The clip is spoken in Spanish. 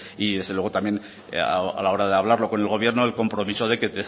y desde luego también a la hora de hablarlo con el gobierno el compromiso de que